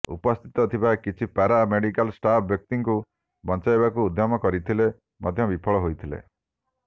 ଉପସ୍ଥିତ ଥିବା କିଛି ପାରା ମେଜିକାଲ ଷ୍ଟାଫ୍ ବ୍ୟକ୍ତିଙ୍କୁ ବଞ୍ଚାଇବାକୁ ଉଦ୍ୟମ କରିଥିଲେ ମଧ୍ୟ ବିଫଳ ହୋଇଥିଲେ